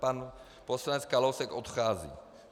Pan poslanec Kalousek odchází.